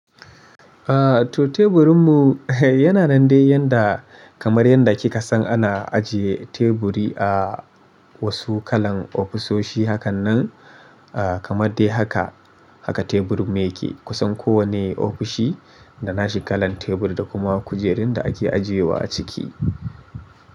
To teburinmu yana nan dai yanda kamar yanda kika san ana ajiye teburi a wasu kalan ofisoshi hakan nan, ah, kamar dai haka, haka teburin mu yake kusan kowane ofishi, da nashi kalan tebur, da kuma kujerun da ake ajiyewa a ciki.